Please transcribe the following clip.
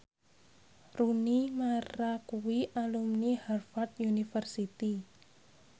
Rooney Mara kuwi alumni Harvard university